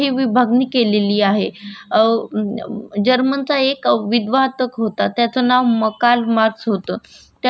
त्यांना क्षमा बद्दल खूप सारे महत्त्वाच्या पॉईंट्स असे लिहून ठेवलेले आहेत आणि त्या पॉइंट खूप मोठे योगदान आहे